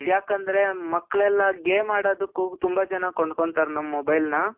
ಯಾಕಂದ್ರೆ ಮಕ್ಕಳೆಲ್ಲ game ಆಡೋದುಕ್ಕೂ ತುಂಬಾ ಜನ ಕೊಂಡ್ಕೊಳ್ತಾರೆ ನಮ್ mobileನ